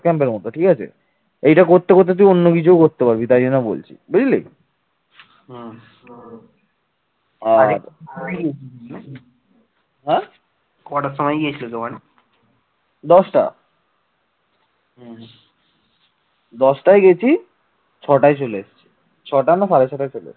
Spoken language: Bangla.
দশটায় গেছি, ছটায় চলে এসেছি ছটা না সাড়ে ছটায় চলে এসেছি